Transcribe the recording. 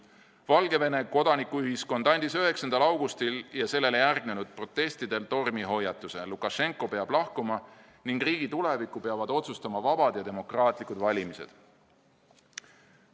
Valgevene kodanikuühiskond andis 9. augustil ja sellele järgnenud protestidel tormihoiatuse: Lukašenka peab lahkuma ning riigi tuleviku peavad otsustama vabad ja demokraatlikud valimised.